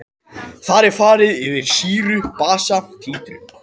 Þar er farið yfir sýru-basa títrun.